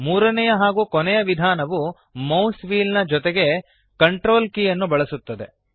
ಮೂರನೆಯ ಹಾಗೂ ಕೊನೆಯ ವಿಧಾನವು ಮೌಸ್ನ ವ್ಹೀಲ್ ಜೊತೆಗೆ CTRL ಕೀ ಯನ್ನು ಬಳಸುತ್ತದೆ